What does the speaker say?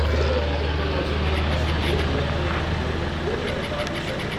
Wearable ટેકનોલોજીના અશ્વમેધ યજ્ઞનો ઘોડો કોઇ અટકાવી શકે.